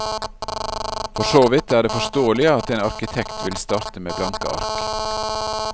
For så vidt er det forståelig at en arkitekt vil starte med blanke ark.